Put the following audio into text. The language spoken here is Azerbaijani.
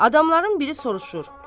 Adamların biri soruşur.